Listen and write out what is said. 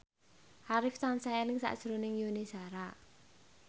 Arif tansah eling sakjroning Yuni Shara